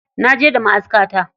Naje da ma'askata.